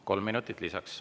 Kolm minutit lisaks.